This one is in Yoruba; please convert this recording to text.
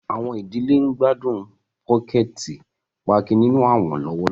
Awọn idile ń gbadun pokẹti pààki ninu awọn lọwọlọwọ.